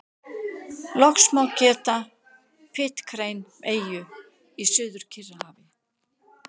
Loks má geta Pitcairn-eyju í Suður-Kyrrahafi.